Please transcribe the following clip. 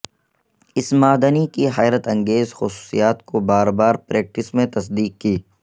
اس معدنی کی حیرت انگیز خصوصیات کو بار بار پریکٹس میں تصدیق کی